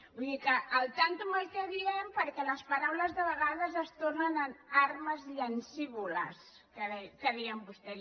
vull dir que al tanto amb el que diem perquè les paraules a vegades es tornen armes llancívoles que deien vostès